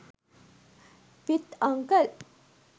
with uncle